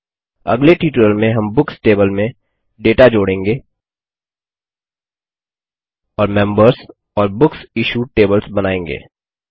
अगले ट्यूटोरियल में हम बुक्स टेबल में डेटा जोड़ेंगे और मेम्बर्स और BooksIssuedबुक्स इश्यूड टेबल्स बनायेंगे